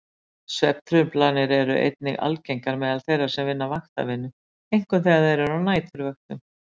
Svefntruflanir eru einnig algengar meðal þeirra sem vinna vaktavinnu, einkum þegar þeir eru á næturvöktum.